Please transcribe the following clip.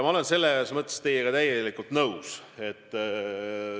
Ma olen teiega täielikult nõus.